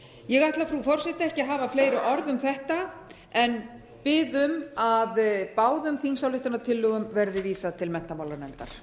ég ætla frú forseti ekki að hafa fleiri orð um þetta en bið um að báðum þingsályktunartillögum verði vísað til menntamálanefndar